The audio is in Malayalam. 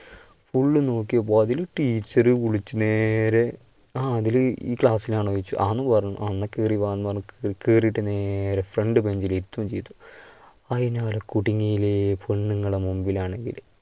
full നോക്കിയപ്പൊ അതിൽ teacher വിളിച്ചു നേരെ അഖിൽ ഈ class ൽ അണോന്ന് ചോദിച്ചു, ആന്ന് പറഞ്ഞു, എന്നാ കേറി വാന്നു പറഞ്ഞു കേറിട്ട് നേരെ front ബെഞ്ചില് ഇരുത്തുവേം ചെയ്തു. അതിനാൽ കുടുങ്ങി ഇല്ലേ പെണ്ണുങ്ങളുടെ മുൻപിലാണെങ്കില്